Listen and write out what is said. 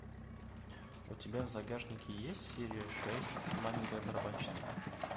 у тебя в загашнике есть серия шесть маленькая барабанщица